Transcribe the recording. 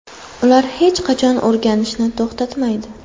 Ular hech qachon o‘rganishni to‘xtatmaydi.